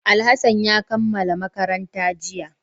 Alhassan ya kammala makaranta jiya